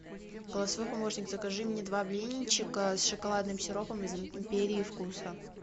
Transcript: голосовой помощник закажи мне два блинчика с шоколадным сиропом из империи вкуса